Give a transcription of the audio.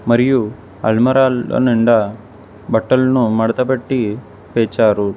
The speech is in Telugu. మరియు అల్మరాలో నిండా బట్టలను మడతపెట్టి పేర్చారు.